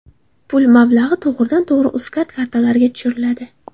Pul mablag‘i to‘g‘ridan-tug‘ri Uzcard kartalariga tushiriladi.